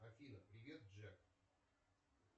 афина привет джек